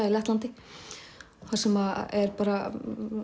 í Lettlandi þar sem er bara